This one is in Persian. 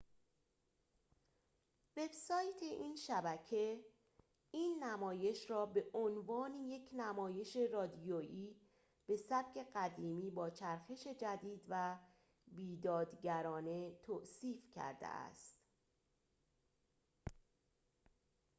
وب‌سایت این شبکه این نمایش را به عنوان یک نمایش رادیویی به سبک قدیمی با چرخش جدید و بیدادگرانه توصیف کرده است